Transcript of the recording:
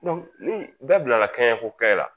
Donc ni bɛɛ bila kɛɲɛ ko kɛ la